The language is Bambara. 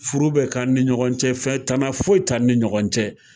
Furu bɛ kɛ an ni ɲɔgɔn cɛ, tana foyi t'an ni ɲɔgɔn cɛ.